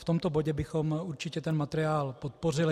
V tomto bodě bychom určitě ten materiál podpořili.